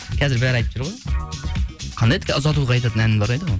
қазір бәрі айтып жүр ғой қандай еді ұзатуға айтатын ән бар еді ғой